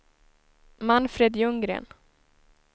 Manfred Ljunggren